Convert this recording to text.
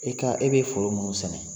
E ka e bɛ foro munnu sɛnɛ.